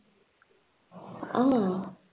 ஆமா